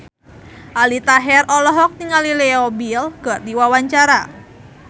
Aldi Taher olohok ningali Leo Bill keur diwawancara